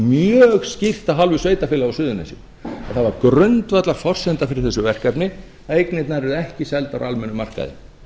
mjög skýrt af hálfu sveitarfélaga á suðurnesjum að það var grundvallarforsenda fyrir þessu verkefni að eignirnar yrðu ekki seldar á almennum markaði